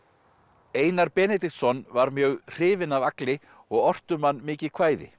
Einar Benediktsson var mjög hrifinn af Agli og orti um hann mikið kvæði